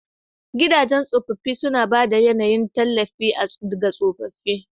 Gidajen tsofaffi suna ba da yAnayin tallafi ga tsofaffi.